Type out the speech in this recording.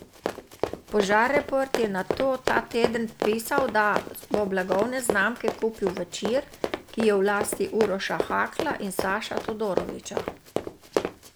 Požareport je nato ta teden pisal, da bo blagovne znamke kupil Večer, ki je v lasti Uroša Hakla in Saša Todoroviča.